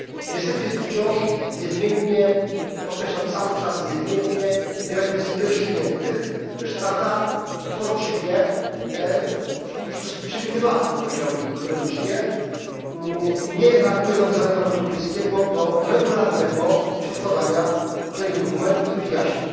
Niestety jest tu wciąż niezmiennie podkreślam cały czas niezmiennie wiele kwestii nierozstrzygniętych, gdyż Rada uporczywie, w sposób dosyć przewidywalny powiedziałbym ironicznie nie reaguje na wezwania Parlamentu Europejskiego do regularnego przedkładania odpowiednich dokumentów i wyjaśnień.